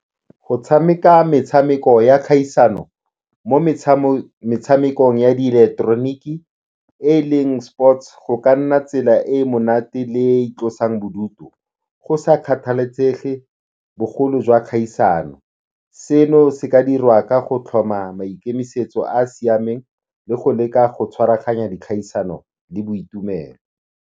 Go tshameka metshameko ya kgaisano mo metshamekong ya diileketeroniki e leng sports, go ka nna tsela e e monate le e e tlosang bodutu go sa kgathalesege bogolo jwa kgaisano. Seno se ka dirwa ka go tlhoma maikemisetso a a siameng le go leka go tshwaraganya dikgaisano le boitumelo.